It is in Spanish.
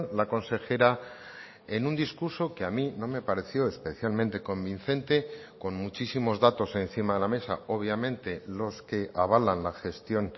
la consejera en un discurso que a mí no me pareció especialmente convincente con muchísimos datos encima de la mesa obviamente los que avalan la gestión